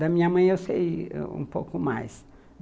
Da minha mãe, eu sei ãh um pouco mais.